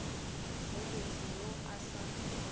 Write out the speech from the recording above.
go motho yo a sa